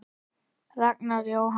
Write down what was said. Ragnar Jóhann.